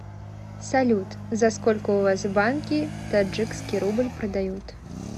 салют за сколько у вас в банке таджикский рубль продают